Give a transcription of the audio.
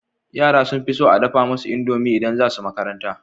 Yara sun fison a dafa musu indomi idan zasu makaranta